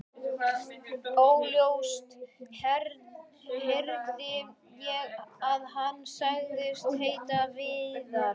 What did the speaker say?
Óljóst heyrði ég að hann sagðist heita Viðar.